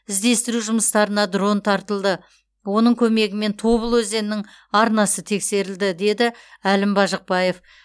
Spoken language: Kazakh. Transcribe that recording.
іздестіру жұмыстарына дрон тартылды оның көмегімен тобыл өзенінің арнасы тексерілді деді әлім бажықбаев